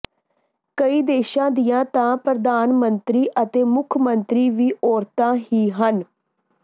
ਕਈ ਦੇਸ਼ਾਂ ਦੀਆਂ ਤਾਂ ਪ੍ਰਧਾਨ ਮੰਤਰੀ ਅਤੇ ਮੁੱਖ ਮੰਤਰੀ ਵੀ ਔਰਤਾਂ ਹੀ ਹਨ